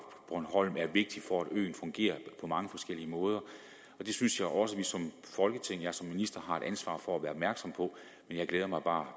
bornholm er vigtigt for at øen fungerer på mange forskellige måder det synes jeg også vi som folketing og jeg som minister har et ansvar for at være opmærksom på men jeg glæder mig bare